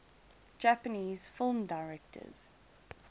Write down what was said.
japanese film directors